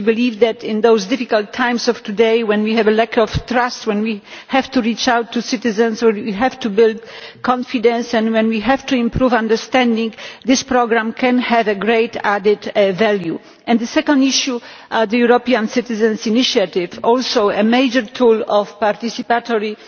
We believe that in these difficult times, when we have a lack of trust, when we have to reach out to citizens, when we have to build confidence and when we have to improve understanding, this programme can have great added value. And the second issue the European Citizens' Initiative is also a major tool of participatory